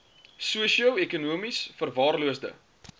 sosio ekonomies verwaarloosde